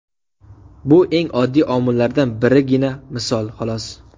Bu eng oddiy omillardan birgina misol, xolos.